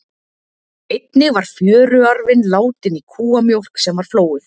Einnig var fjöruarfinn látinn í kúamjólk sem var flóuð.